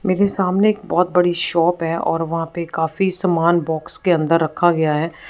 मेरे सामने एक बहोत बड़ी शॉप है और वहां पे काफी सामान बॉक्स के अंदर रखा गया है।